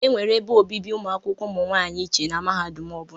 E nwere ebe obibi ụmụakwụkwọ ụmụ nwaanyị iche na mahadum ọ bụla.